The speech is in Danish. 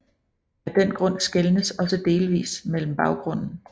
Af den grund skelnes også delvist mellem baggrunden